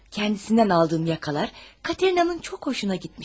Özündən aldığım yaxalar Katerinanın çox xoşuna gəlmişdi.